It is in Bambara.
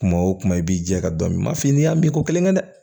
Kuma o kuma i b'i jɛ ka dɔn i m'a f'i ye n'i y'a mɛn ko kelen kɛ dɛ